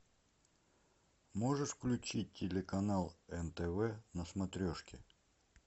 можешь включить телеканал нтв на смотрешке